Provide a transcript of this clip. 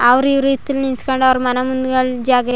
ಅವರಿವರ್ ಹಿತ್ಲು ನಿಲ್ಲಿಸ್ಕೊಂಡು ಅವರ ಮನೆ ಮುಂದೆಗಡ್ ಜಾಗ --